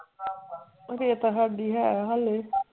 ਰੇਤਾ ਹਾਂਜੀ ਹੈ ਹਾਲੇ,